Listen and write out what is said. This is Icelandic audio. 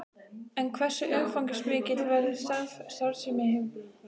En hversu umfangsmikil verður starfssemi hins nýja félags?